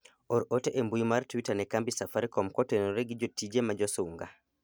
or ote e mbui mar twita ne kambi safarikom kotenore gi jotije ma josunga